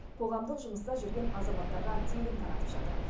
қоғамдық жұмыста жүрген азаматтарға тегін таратып жатыр